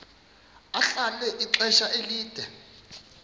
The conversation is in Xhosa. ahlala ixesha elide